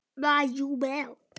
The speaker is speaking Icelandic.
Salt og pipar eftir smekk.